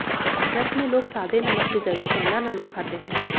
व्रत में लोग सादे नमक की जगह सेंधा नमक खाते हैं